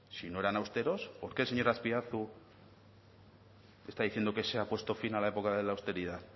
si no eran austeros por qué el señor azpiazu está diciendo que se ha puesto fin a la época de la austeridad